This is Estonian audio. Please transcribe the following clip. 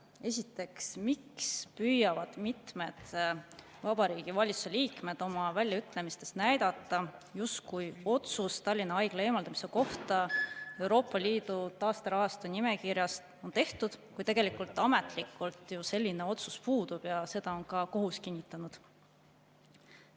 Esiteks, miks püüavad mitmed Vabariigi Valitsuse liikmed oma väljaütlemistes näidata, justkui otsus Tallinna Haigla eemaldamise kohta Euroopa Liidu taasterahastu nimekirjast on tehtud, kui tegelikult ametlikult ju selline otsus puudub ja seda on ka kohus kinnitanud?